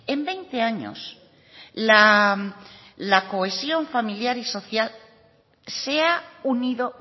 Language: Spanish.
en veinte años la cohesión familiar y social se ha unido